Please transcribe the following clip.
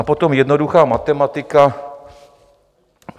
A potom jednoduchá matematika.